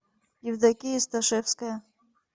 евдокия сташевская